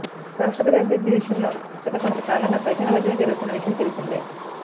రాష్ట్రపతి అభ్యర్థి విషయంలో గత కొంతకాలంగా తర్జనభర్జన జరుగుతున్న విషయం తెలిసిందే